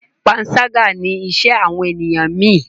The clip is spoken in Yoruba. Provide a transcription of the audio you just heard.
panṣaga ní iṣé àwọn ènìyàn mí.